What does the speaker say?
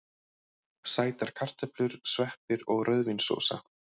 Sætar kartöflur, sveppir og rauðvínssósa.